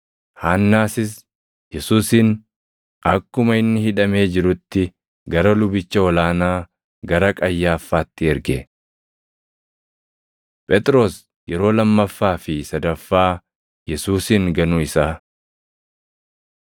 Haannaasis Yesuusin akkuma inni hidhamee jirutti gara lubicha ol aanaa, gara Qayyaaffaatti erge. Phexros Yeroo Lammaffaa fi Sadaffaa Yesuusin Ganuu Isaa 18:25‑27 kwf – Mat 26:71‑75; Mar 14:69‑72; Luq 22:58‑62